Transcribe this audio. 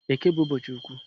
Eke bu ụbọchị ukwu